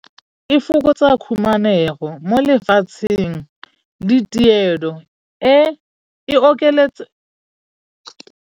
E fokotsa khumanego mo lefatsheng le tirelo e e okeletsa.